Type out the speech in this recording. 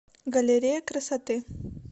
галерея красоты